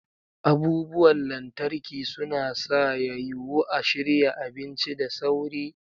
Abubuwan lantarki suna sa ya yiwu a shirya abinci da sauri.